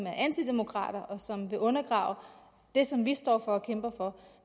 er antidemokrater og som vil undergrave det som vi står for og kæmper for